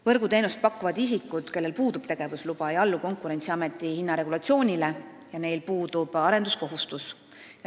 Võrguteenust pakkuvad isikud, kellel puudub tegevusluba, ei allu Konkurentsiameti hinnaregulatsioonile ja neil puudub arenduskohustus.